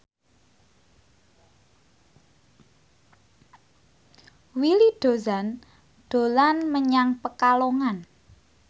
Willy Dozan dolan menyang Pekalongan